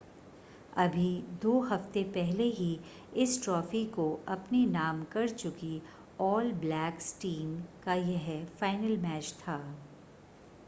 अभी दो हफ़्ते पहले ही इस ट्रॉफ़ी को अपने नाम कर चुकी ऑल ब्लैक्स टीम का यह फ़ाइनल मैच था